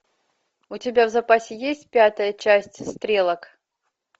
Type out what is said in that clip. у тебя в запасе есть пятая часть стрелок